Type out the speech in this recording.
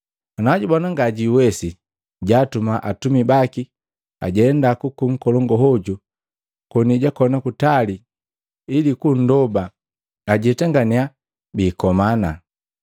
Ana jubona ngajwiiwesi, jaatuma atumi baki ajenda kuku nkolongu hoju koni jakoni kutali ili kundoba ajatangannya biikomana.